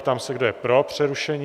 Ptám se, kdo je pro přerušení?